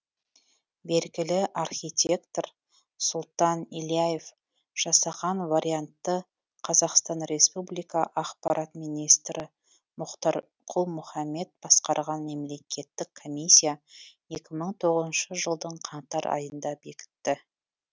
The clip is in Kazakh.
белгілі архитектор сұлтан ильяев жасаған вариантты қазақстан республика ақпарат министрі мұхтар құл мұхаммед басқарған мемлекеттік комиссия екі мың тоғызыншы жылдың қаңтар айында бекітті